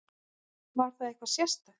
Var það eitthvað sérstakt?